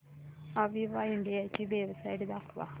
Aviva India ची website दाखवा